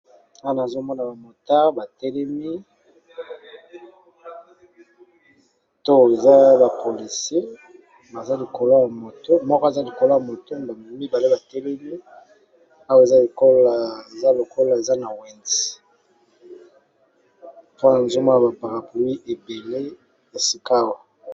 Awa nazo mona ba motard ba telemi to eza ba policier, moko aza likolo ya moto mibale ba telemi awa eza lokola eza Lokola eza na wenze Awa nazo Mona ba parapluie ebele esika awa.